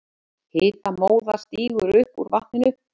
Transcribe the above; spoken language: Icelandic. Hitamóða stígur upp úr vatninu.